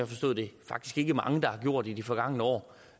forstået det faktisk ikke mange der har gjort i de forgangne år